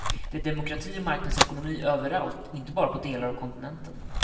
Det är demokrati och marknadsekonomi överallt, inte bara på delar av kontinenten.